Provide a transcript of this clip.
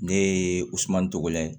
Ne ye gosumani tɔgɔ la ye